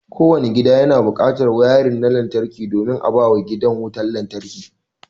Kowanne gida yana buƙatar wayarin na lantarki domin a bawa gidan wutar lantarki.